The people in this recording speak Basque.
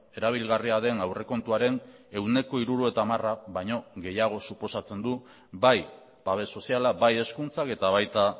erabilgarria den aurrekontuaren ehuneko hirurogeita hamara baino gehiago suposatzen du bai babes soziala bai hezkuntzak eta baita